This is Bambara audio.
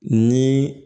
Ni